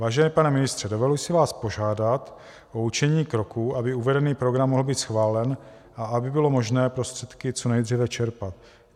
Vážený pane ministře, dovoluji si vás požádat o učinění kroků, aby uvedený program mohl být schválen a aby bylo možné prostředky co nejdříve čerpat.